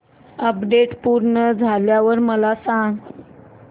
update पूर्ण झाल्यावर मला सांग